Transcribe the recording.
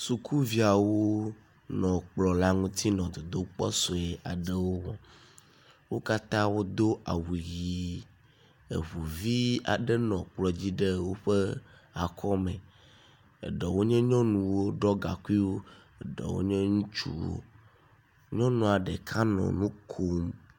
Sukuviawo nɔ kplɔ la ŋuti nɔ dodokpɔ sue aɖewo wɔm. Wo katã wodo awu ʋi eŋu vi aɖe nɔ kplɔ dzi ɖe woƒe akɔme eɖewo nye nyɔnuwo ɖɔ gaŋkuiwo. Eɖewo nye ŋutsu. Nyɔnua ɖeka hã nɔ nu kom.